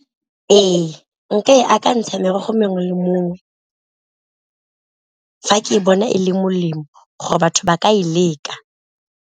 Ee, nka e akantsha merogo mongwe le mongwe, fa ke bona e le molemo gore batho ba ka e leka.